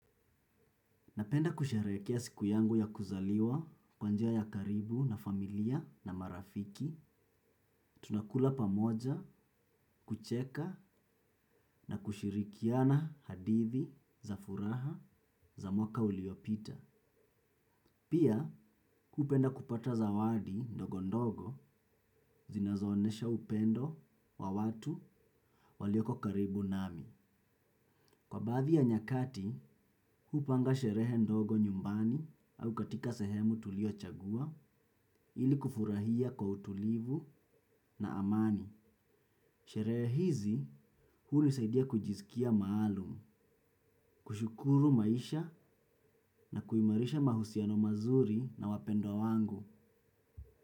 Napenda kusherekea siku yangu ya kuzaliwa kwa njia ya karibu na familia na marafiki, tunakula pamoja, kucheka na kushirikiana hadithi za furaha za mwaka uliopita. Pia hupenda kupata zawadi ndogo ndogo zinazoonesha upendo wa watu walioko karibu nami. Kwa baadhi ya nyakati, hupanga sherehe ndogo nyumbani au katika sehemu tuliochagua ili kufurahia kwa utulivu na amani. Sherehe hizi hunisaidia kujisikia maalum, kushukuru maisha na kuimarisha mahusiano mazuri na wapendwa wangu.